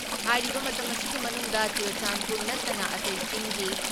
ꯍꯥꯏꯔꯤꯕ ꯃꯇꯝ ꯑꯁꯤꯒꯤ ꯃꯅꯨꯡꯗ ꯆꯨꯔꯆꯥꯟꯄꯨꯔ ꯅꯠꯇꯅ ꯑꯇꯩ ꯆꯤꯡꯒꯤ